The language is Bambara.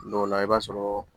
Dɔw la i b'a sɔrɔ